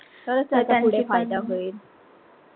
हो त्यांचा पण पुढे फायदा होईल.